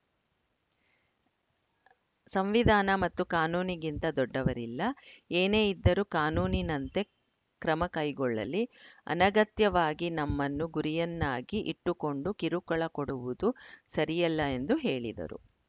ಸಂವಿಧಾನ ಮತ್ತು ಕಾನೂನಿಗಿಂತ ದೊಡ್ಡವರಿಲ್ಲ ಏನೇ ಇದ್ದರೂ ಕಾನೂನಿನಂತೆ ಕ್ರಮಕೈಗೊಳ್ಳಲಿ ಅನಗತ್ಯವಾಗಿ ನಮ್ಮನ್ನು ಗುರಿಯನ್ನಾಗಿ ಇಟ್ಟುಕೊಂಡು ಕಿರುಕುಳ ಕೊಡುವುದು ಸರಿಯಲ್ಲ ಎಂದು ಹೇಳಿದರು